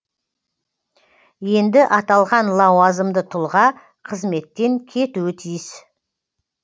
енді аталған лауазымды тұлға қызметтен кетуі тиіс